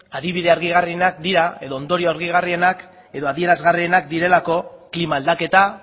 adibide argigarrienak dira edo ondorio argigarrienak edo adierazgarrienak direlako klima aldaketa